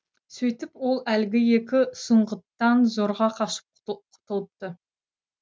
сөйтіп ол әлгі екі сұңғыттан зорға қашып құтылыпты